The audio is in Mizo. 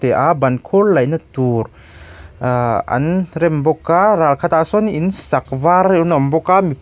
teh a ban khur laihna tur ah an rem bawk a ral khat ah sawn in sak var an awm bawk a mi pali--